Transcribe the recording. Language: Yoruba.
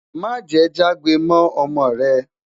má jè jagbe mọ ọmọ rè